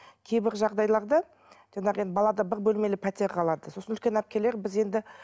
кейбір жағдайларда жаңағы енді балада бір бөлмелі пәтер қалады сосын үлкен әпкелері біз енді